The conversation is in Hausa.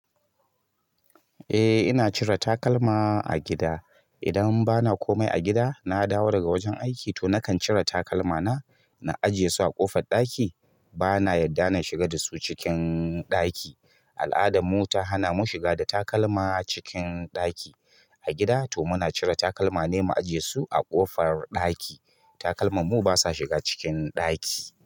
Eh ina cire takalma a gida. Idan bana komai a gida, na dawo daga wajen aiki to nakan cire takalmana na ajiye su a ƙofar ɗaki. Bana yadda na shiga da su cikin ɗaki. Al'adarmu ta hana mu shiga da takalma cikin ɗaki. A gida to muna cire takalmane mu ajiye su a ƙofar ɗaki. Takalmanmu basa shiga cikin ɗaki.